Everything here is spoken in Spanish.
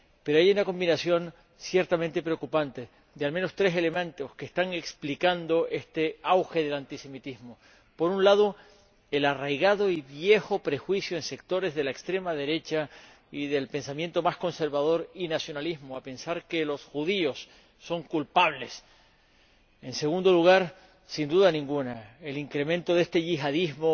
Pero hay una combinación ciertamente preocupante de, al menos, tres elementos que están explicando este auge del antisemitismo. En primer lugar, el arraigado y viejo prejuicio de sectores de la extrema derecha y del pensamiento más conservador y nacionalista de pensar que los judíos son culpables. En segundo lugar ―sin ninguna duda― el incremento de este yihadismo,